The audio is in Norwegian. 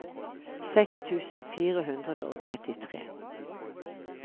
seks tusen fire hundre og trettitre